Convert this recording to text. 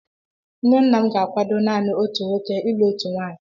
Nne nna m ga-akwado naanị otu nwoke ilụ otu nwaanyị.